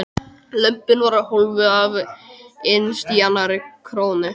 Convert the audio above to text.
Lömbin voru hólfuð af innst í annarri krónni.